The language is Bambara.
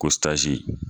Ko tazi